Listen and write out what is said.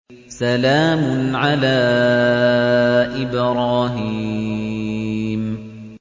سَلَامٌ عَلَىٰ إِبْرَاهِيمَ